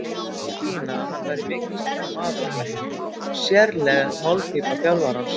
Lét í það skína að hann væri mikilsháttar maður á bekknum, sérleg málpípa þjálfarans.